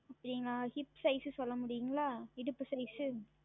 அப்படிங்களா Hip Size சொல்ல முடியுமா இடுப்பு Size